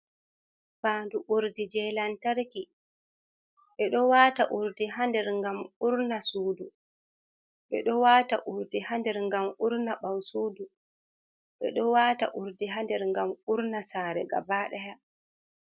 Faandu urdi jey lantarki. Ɓe ɗo waata urdi haa nder ngam urna suudu ,ɓe ɗo waata urdi haa nder ngam urna ɓaawo suuu ,ɓe do waata urdi haa nder ngam urna saare gabaɗaya.